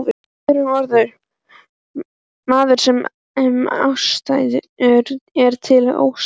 Með öðrum orðum, maður sem ástæða er til að óttast.